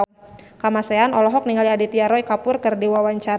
Kamasean olohok ningali Aditya Roy Kapoor keur diwawancara